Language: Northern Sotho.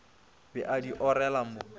be a di orela mo